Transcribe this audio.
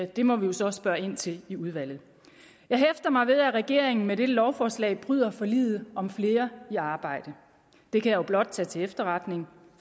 det må vi jo så spørge ind til i udvalget jeg hæfter mig ved at regeringen med dette lovforslag bryder forliget om flere i arbejde det kan jeg blot tage til efterretning